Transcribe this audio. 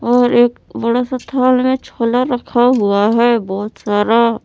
और एक बड़ा सा थाल में छोला रखा हुआ है बहोत सारा।